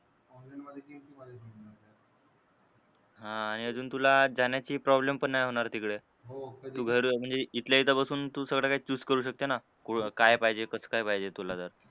हां आणि अजून तुला जाण्याची problem पण नाही होणार तिकडे. तू घर म्हणजे इथल्या इथे बसून तू सगळं काही choose करू शकते ना. तुला काय पाहिजे, कसं काय पाहिजे तुला जर.